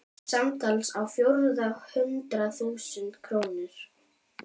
Samtals á fjórða hundrað þúsund krónur.